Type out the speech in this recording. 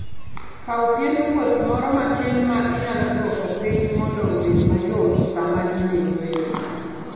Kaw piend wuoth moro matin ma inyalo duoko piny mondo obed mayot sama in e yueyo.